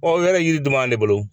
o yɛrɛ yiri dun b'ale bolo